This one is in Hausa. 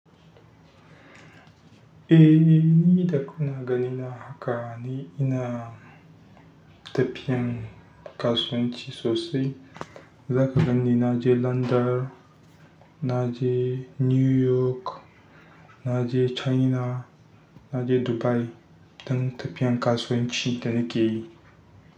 Eh, ni davkuna ganina haka ni, ina tafiyan kasuwanci sosai. Zaka ganni na je London, na je New York, na je China, na je Dubai don tafiyan kasuwanci da na ke yi.